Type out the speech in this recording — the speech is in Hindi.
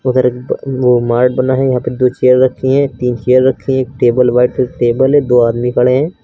उधर एक ब वो बना है। यहां पे दो चेयर रखी है तीन चेयर रखी हैं। एक टेबल व्हाइट कलर की टेबल है। दो आदमी खड़े हैं।